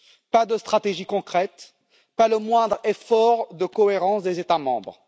Pas de stratégie concrète, pas le moindre effort de cohérence des États membres.